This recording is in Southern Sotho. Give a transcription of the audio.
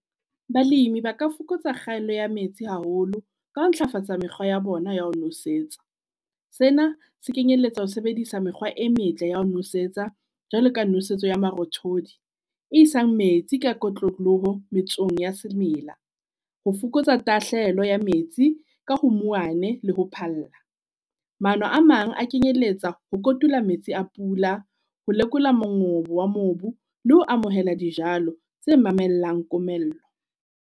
Balemi ba ka fokotsa kgaello ya metsi haholo ka ho ntlafatsa mekgwa ya bona ya ho nosetsa. Sena se kenyelletsa ho sebedisa mekgwa e metle ya ho nosetsa jwalo ka nosetso ya marothodi. E isang metsi ka kotloloho metsong ya semela, ho fokotsa tahlehelo ya metsi ka ho mouwane le ho phalla. Maano a mang a kenyeletsa ho kotula metsi a pula, ho lekola mongobo wa mobu le ho amohela dijalo tse mamellang komello.